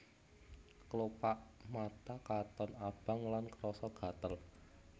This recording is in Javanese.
Klopak mata katon abang lan krasa gatel